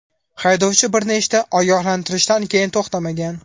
Haydovchi bir nechta ogohlantirishdan keyin to‘xtamagan.